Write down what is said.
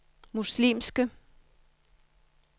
muslimske